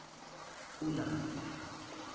kunanta